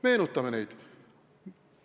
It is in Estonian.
Meenutame neid!